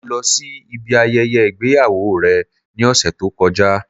Mo lo sí ibi ayẹyẹ ìgbéyàwó rẹ̀ ní òsẹ̀ tó kọjá